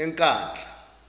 enkandla